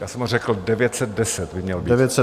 Já jsem ho řekl, 910 by měl být.